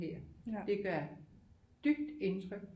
Her det gør dybt indtryk